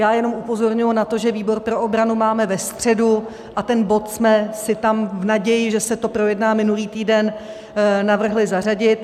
Já jenom upozorňuji na to, že výbor pro obranu máme ve středu a ten bod jsme si tam v naději, že se to projedná minulý týden, navrhli zařadit.